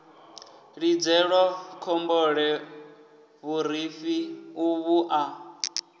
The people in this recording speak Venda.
lidzelwa khombole vhurifhi uvhu a